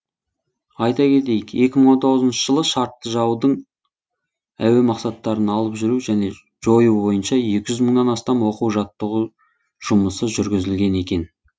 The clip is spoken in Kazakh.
айта кетейік екі мың он тоғызыншы жылы шартты жаудың әуе мақсаттарын алып жүру және жою бойынша екі жүз мыңнан астам оқу жаттығу жұмысы жүргізілген екен